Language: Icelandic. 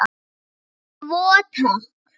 Tvo, takk!